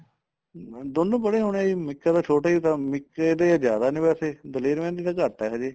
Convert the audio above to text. ਹਮ ਹਾਂਜੀ ਦੋਨੋ ਪੜ੍ਹੇ ਹੋਣੇ ਜੀ ਮਿੱਕਾ ਤਾਂ ਛੋਟਾ ਈ ਕੰਮ ਮਿੱਕੇ ਦੇ ਜਿਆਦਾ ਨੇ ਵੈਸੇ ਦਲੇਰ ਮਹਿੰਦੀ ਦਾ ਘੱਟ ਏ ਹਜੇ